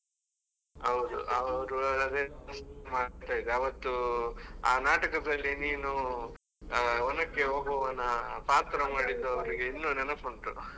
ಹೌದು ಅವ್ರು ಅವತ್ತು ಆ ನಾಟಕದಲ್ಲಿ ನೀನು ಒನಕೆ ಓಬವ್ವನ ಪಾತ್ರ ಮಾಡಿದ್ದೂ ಅವ್ರಿಗೆ ಇನ್ನು ನೆನಪುಂಟು.